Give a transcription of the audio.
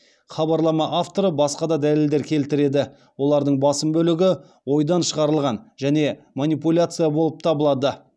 хабарлама авторы басқа да дәлелдер келтіреді олардың басым бөлігі ойдан шығарылған және манипуляция болып табылады